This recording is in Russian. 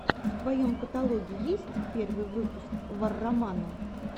в твоем каталоге есть первый выпуск варромана